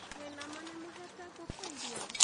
Mwĩ na ma nĩ mũhete ngũkũ irio.